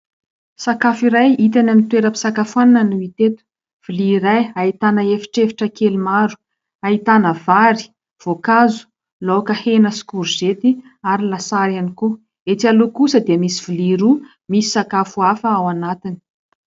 sakafo iray hita eny amin'ny toeram-pisakafoana no hita eto. Vilia iray ahitana efitrefitra kely maro ahitana: vary, voakazo, laoka hena sy korozety ary lasary ihany koa, ety aloha kosa dia misy vilia roa misy sakafo afa ao anatiny.